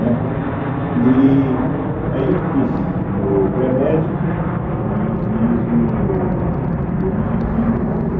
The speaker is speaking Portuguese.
Né e Aí eu fiz o pré-médico e fiz o o objetivo junto.